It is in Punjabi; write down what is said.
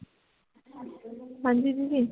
ਹਾਂਜੀ ਦੀਦੀ